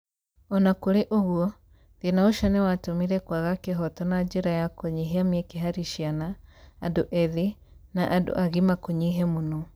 O na kũrĩ ũguo, thĩna ũcio nĩ watũmire kwaga kĩhoto na njĩra ya kũnyihia mĩeke harĩ ciana, andũ ethĩ, na andũ agima kũnyihe mũno.